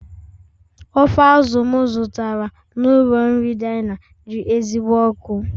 Ofe azụ̀ m zụtara n'ụlọ nri Diana dị ezigbo ọkụ